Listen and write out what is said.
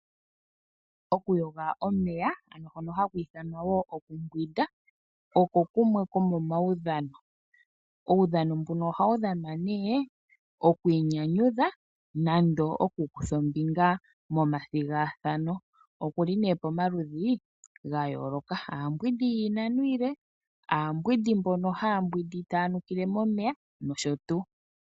Okuyoga omeya ano hono haku ithanwa wo okumbwinda oko kumwe komomaudhano. Uudhano mbuno ohawu dhanwa nee oku inyanyudha nenge okukutha ombinga omathigathano. Oku li nee pamaludhi ga yoolokathana. Aambwindi yiinano iile, aambwindi mbono haya mbwindi taya nukile momeya nosho tuu.